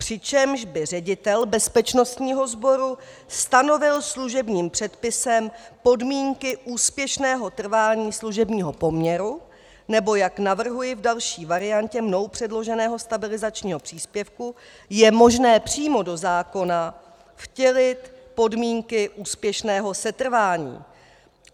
Přičemž by ředitel bezpečnostního sboru stanovil služebním předpisem podmínky úspěšného trvání služebního poměru, nebo jak navrhuji v další variantě mnou předloženého stabilizačního příspěvku, je možné přímo do zákona vtělit podmínky úspěšného setrvání.